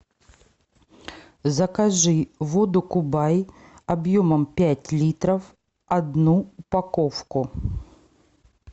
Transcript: закажи воду кубай объемом пять литров одну упаковку